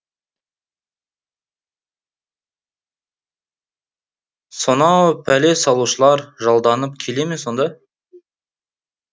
сонау пәле салушылар жалданып келе ме сонда